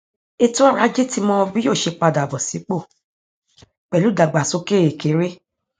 ètò ọrọ ajé ti mọ bí yóò ṣe padà bọ sípò pẹlú ìdàgbásókè kéré